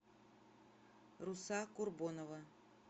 руса курбонова